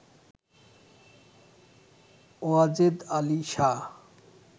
Wazed Ali Shah